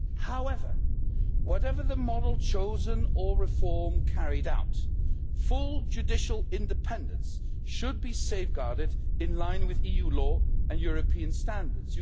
However, whatever the model chosen or reform carried out, full judicial independence should be safeguarded in line with EU law and European standards.